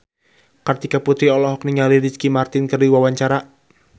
Kartika Putri olohok ningali Ricky Martin keur diwawancara